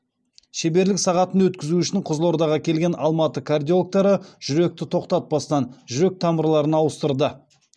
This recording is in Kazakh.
шеберлік сағатын өткізу үшін қызылордаға келген алматы кардиологтары жүректі тоқтатпастан жүрек тамырларын ауыстырды